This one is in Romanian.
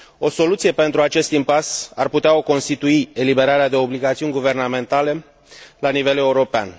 O soluție pentru acest impas ar putea o constitui eliberarea de obligațiuni guvernamentale la nivel european.